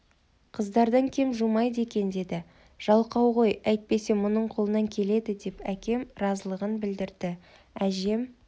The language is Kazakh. қыздардан кем жумайды екен деді жалқау ғой әйтпесе мұның қолынан келеді деп әкем разылығын білдірді әжем